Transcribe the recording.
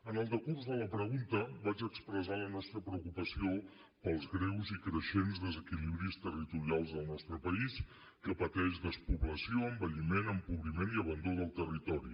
en el decurs de la pregunta vaig expressar la nostra preocupació pels greus i creixents desequilibris territorials del nostre país que pateix despoblació envelliment empobriment i abandó del territori